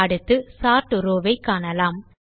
அடுத்து sort row ஐ காணலாம்